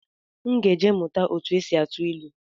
M ga-eje mụta etu esi atụ ilu